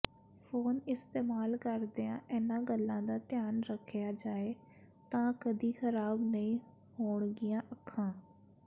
phone ਇਸਤੇਮਾਲ ਕਰਦਿਆਂ ਇਨ੍ਹਾਂ ਗੱਲਾਂ ਦਾ ਧਿਆਨ ਰੱਖਿਆ ਜਾਏ ਤਾਂ ਕਦੀ ਖਰਾਬ ਨਹੀਂ ਹੋਣਗੀਆਂ ਅੱਖਾਂ